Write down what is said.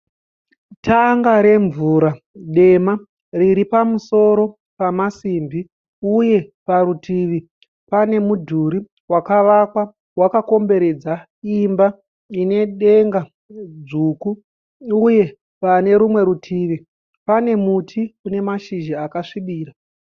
Tanga remvura dema riri pamusoro pamasimbi uye parutivi pane mudhuri wakavakwa wakakombredza imba ine denga dzvuku. Uye pane rumwe rutivi pane muti une mashizha akasvibira.